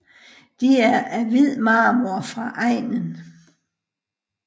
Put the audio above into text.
De er af hvid marmor fra egnen